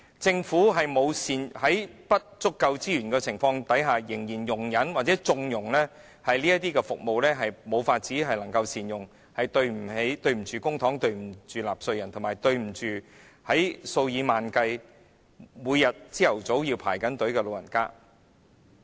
政府在資源不足的情況下，仍然容忍或縱容這些服務未獲善用，對不起公帑、對不起納稅人，以及對不起數以萬計每天早上排隊的長者。